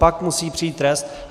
Pak musí přijít trest.